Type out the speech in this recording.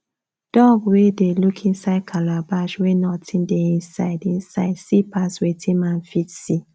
dog wey dey look inside calabash wey nothing dey inside inside see pass wetin man fit see